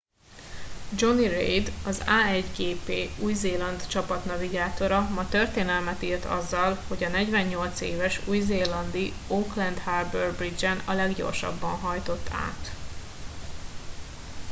jonny reid az a1gp új zéland csapat navigátora ma történelmet írt azzal hogy a 48 éves új zélandi auckland harbour bridge en a leggyorsabban hajtott át